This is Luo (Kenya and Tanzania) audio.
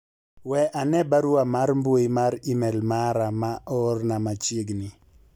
we ane barua mar mbui mar email mara ma oorna machiegni